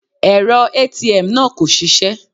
Èrọ ATM náà kò ṣisẹ́.